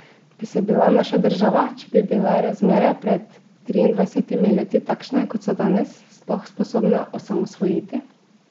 Bi se bila naša država, če bi bile razmere pred triindvajsetimi leti takšne, kot so danes, sploh sposobna osamosvojiti?